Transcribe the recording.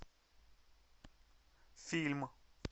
фильм